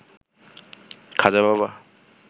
Khaja Baba